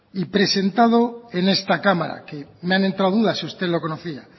y presentado en esta cámara que me ha entrado dudas si usted lo conocía